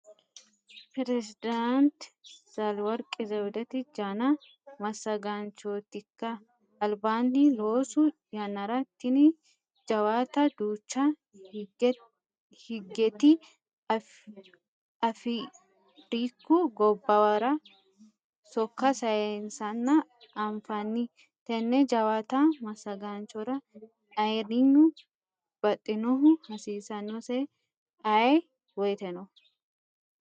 Perisedaanti Zalaworki Zewudeti janna massagaanchotinka albaani loosu yannara tini jawaatta duucha higeti Afriku gobbuwara sokka saysanna anfanni tene jawaatta massagaanchora ayirrinyu baxinohu hasiisanose ayee woyteno.